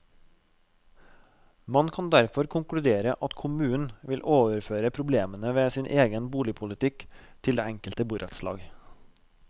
Man kan derfor konkludere at kommunen vil overføre problemene ved sin egen boligpolitikk til det enkelte borettslag.